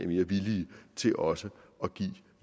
mere villige til også at give